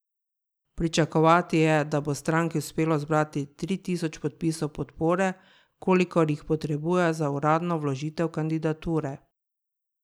Pričakovati je, da bo stranki uspelo zbrati tri tisoč podpisov podpore, kolikor jih potrebujejo za uradno vložitev kandidature.